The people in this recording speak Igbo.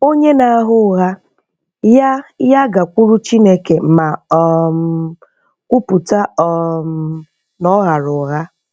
Onye na-agha ụgha, ya ya gakwuru Chineke ma um kwupụta um na ọ ghara ụgha.